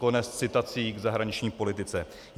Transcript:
Konec citací k zahraniční politice.